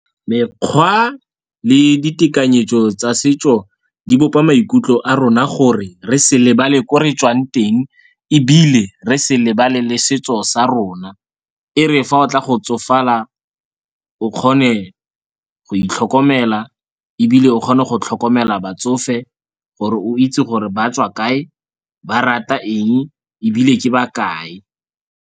Mekgwa le ditekanyetso tsa setso di bopa maikutlo a rona gore re sa lebale ko re tswang teng ebile re se lebale le setso sa rona. E re fa o tla go tsofala o kgone go itlhokomela ebile o kgone go tlhokomela batsofe gore o itse gore ba tswa kae, ba rata eng ebile ke ba kae.